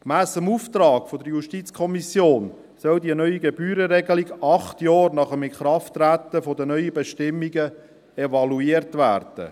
Gemäss dem Auftrag der JuKo soll die neue Gebührenregelung acht Jahre nach Inkrafttreten der neuen Bestimmungen evaluiert werden.